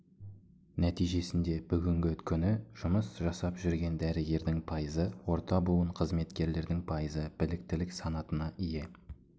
нәтижесінде бүгінгі күні жұмыс жасап жүрген дәрігердің пайызы орта буын қызметкерлердің пайызы біліктілік санатына ие